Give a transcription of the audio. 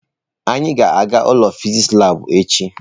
Anyị ga-aga ụlọ fịsịsị labụ echi.